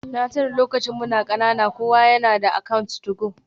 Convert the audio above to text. Na tuna lokacin muna kanana kowa yana da account 2go.